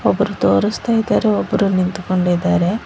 ಒಬ್ಬರು ತೋರಸ್ತಾ ಇದಾರೆ ಒಬ್ಬರು ನಿಂತ್ಕೊಂಡಿದಾರೆ.